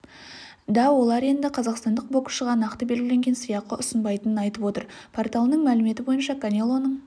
да олар енді қазақстандық боксшыға нақты белгіленген сыйақы ұсынбайтынын айтып отыр порталының мәліметі бойынша канелоның